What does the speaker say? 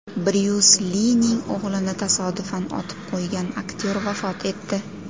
Bryus Lining o‘g‘lini tasodifan otib qo‘ygan aktyor vafot etdi.